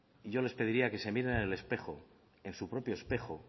y yo les pediría que se miren en el espejo en su propio espejo